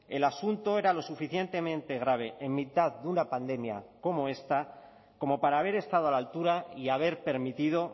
el asunto era lo suficientemente grave en mitad de una pandemia como esta como para haber estado a la altura y haber permitido